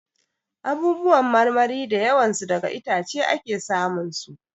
Abubuwan marmari da yawan su daga itace ake sa mun su.